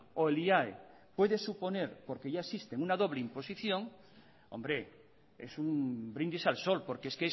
o el iae puede suponer porque ya existen una doble imposición hombre es un brindis al sol porque es